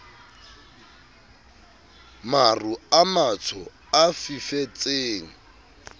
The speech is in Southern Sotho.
maru a matsho a fifetseng